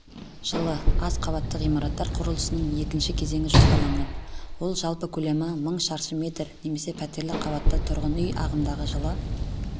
жылы аз қабатты ғимараттар құрылысының екінші кезеңі жоспарланған ол жалпы көлемі мың шаршы метр немесе пәтерлі қабатты тұрғын үй ағымдағы жылы